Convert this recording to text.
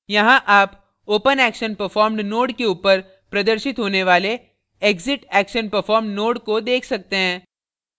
यहाँ आप openactionperformed node के ऊपर प्रदर्शित होने वाले exitactionperformed node को देख सकते हैं